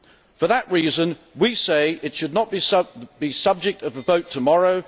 For that reason we say it should not be the subject of a vote tomorrow